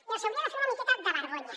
i els hi hauria de fer una miqueta de vergonya